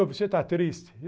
Você está triste?